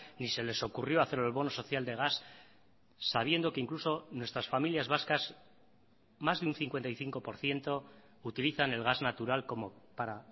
ni se les ocurrió hacer el bono social de gas sabiendo que incluso nuestras familias vascas más de un cincuenta y cinco por ciento utilizan el gas natural como para